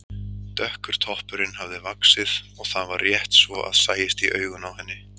Dökkur toppurinn hafði vaxið og það var rétt svo að sæist í augun á henni.